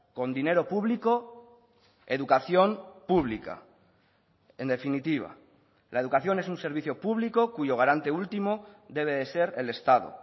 con dinero público educación pública en definitiva la educación es un servicio público cuyo garante último debe de ser el estado